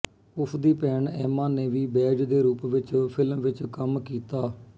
ਉਸਦੀ ਭੈਣ ਐਮਾ ਨੇ ਵੀ ਬੈਜ ਦੇ ਰੂਪ ਵਿੱਚ ਫਿਲਮ ਵਿੱਚ ਕੰਮ ਕੀਤਾ